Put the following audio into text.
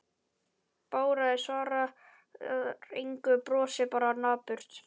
Bárður svarar engu, brosir bara napurt.